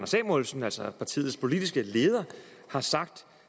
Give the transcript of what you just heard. samuelsen altså partiets politiske leder har sagt